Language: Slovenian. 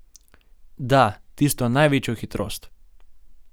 Da, tisto največjo hitrost.